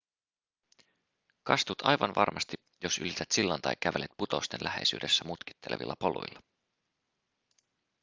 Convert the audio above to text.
kastut aivan varmasti jos ylität sillan tai kävelet putousten läheisyydessä mutkittelevilla poluilla